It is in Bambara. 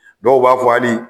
Dɔw b'a fɔ hali